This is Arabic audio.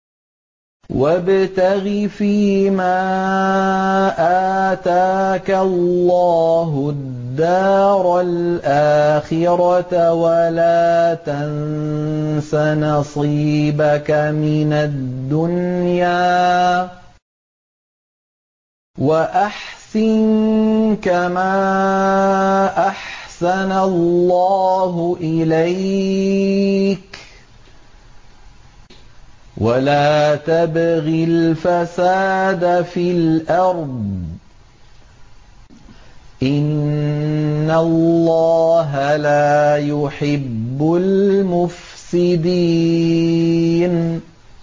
وَابْتَغِ فِيمَا آتَاكَ اللَّهُ الدَّارَ الْآخِرَةَ ۖ وَلَا تَنسَ نَصِيبَكَ مِنَ الدُّنْيَا ۖ وَأَحْسِن كَمَا أَحْسَنَ اللَّهُ إِلَيْكَ ۖ وَلَا تَبْغِ الْفَسَادَ فِي الْأَرْضِ ۖ إِنَّ اللَّهَ لَا يُحِبُّ الْمُفْسِدِينَ